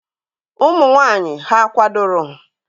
Ụmụ nwanyị hà kwadoro?